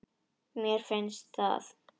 Mér finnst það.